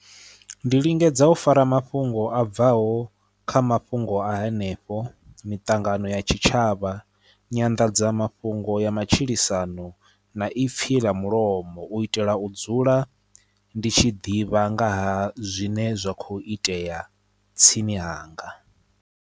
Ndi lingedza u fara mafhungo a bvaho kha mafhungo a henefho, miṱangano ya tshitshavha, nyanḓadzamafhungo ya matshilisano na i pilela mulomo u itela u dzula ndi tshi ḓivha nga ha zwine zwa kho itea tsini hanga.